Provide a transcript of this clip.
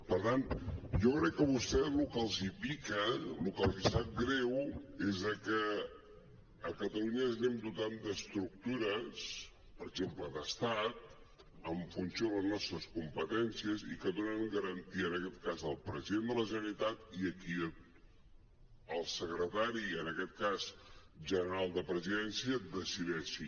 per tant jo crec que a vostès el que els pica el que els sap greu és que a catalunya ens anem dotant d’estructures per exemple d’estat en funció de les nostres competències i que donen garantia en aquest cas al president de la generalitat i a qui el secretari en aquest cas general de presidència decideixi